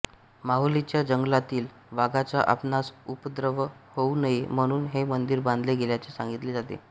माहुलीच्या जंगलातील वाघाचा आपणास उपद्रव होवू नये म्हणून हे मंदिर बांधले गेल्याचे सांगितले जाते